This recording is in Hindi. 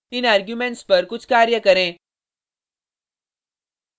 इन आर्गुमेंट्स पर कुछ कार्य करें